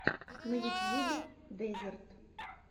на ютьюбе дезерт